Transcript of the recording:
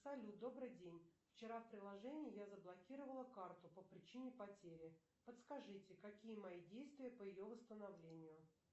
салют добрый день вчера в приложении я заблокировала карту по причине потери подскажите какие мои действия по ее восстановлению